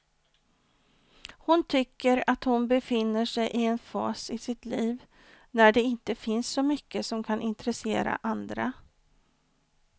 Hon tycker att hon befinner sig i en fas i sitt liv när det inte finns så mycket som kan intressera andra.